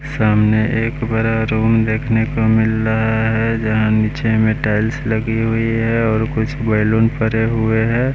सामने एक बरा रूम देखने को मिल रहा है जहाँ नीचे में टाइल्स लगी हुई है और कुछ बैलून परे हुए हैं।